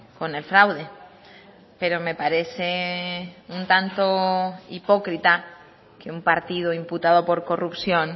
con el fraude pero me parece un tanto hipócrita que un partido imputado por corrupción